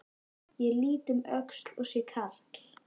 Ég lít um öxl og sé karl